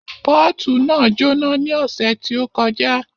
Pọ́ọ̀tù náà jóná ní ọ̀sẹ̀ tí ó kọjá